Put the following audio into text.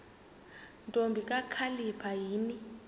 ntombi kakhalipha yini